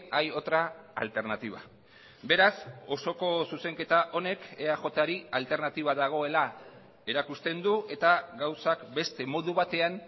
hay otra alternativa beraz osoko zuzenketa honek eajri alternatiba dagoela erakusten du eta gauzak beste modu batean